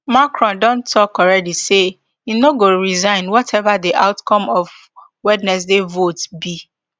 macron don tok alreadi say im no go resign wateva di outcome of wednesday vote be